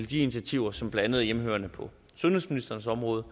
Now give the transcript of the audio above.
de initiativer som blandt andet er hjemmehørende på sundhedsministerens område